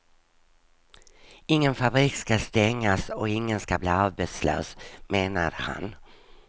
Ingen fabrik ska stängas och ingen ska bli arbetslös, menade han.